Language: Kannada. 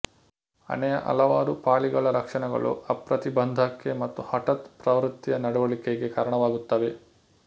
ಹಣೆಯ ಹಲವಾರು ಪಾಲಿಗಳ ಲಕ್ಷಣಗಳು ಅಪ್ರತಿಬಂಧಕ್ಕೆ ಮತ್ತು ಹಠಾತ್ ಪ್ರವೃತ್ತಿಯ ನಡುವಳಿಕೆಗೆ ಕಾರಣವಾಗುತ್ತವೆ